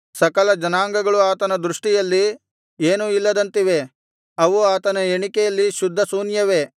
ಸಕಲ ಜನಾಂಗಗಳು ಆತನ ದೃಷ್ಟಿಯಲ್ಲಿ ಏನೂ ಇಲ್ಲದಂತಿವೆ ಅವು ಆತನ ಎಣಿಕೆಯಲ್ಲಿ ಶುದ್ಧಶೂನ್ಯವೇ